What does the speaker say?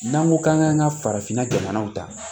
N'an ko k'an k'an ka farafinna jamanaw ta